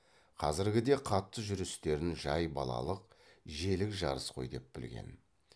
қазіргі де қатты жүрістерін жай балалық желік жарыс қой деп білген